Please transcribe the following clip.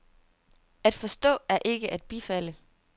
At forstå er ikke at bifalde.